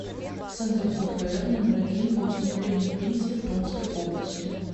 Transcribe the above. центр пфр номер один по установлению пенсий в томской области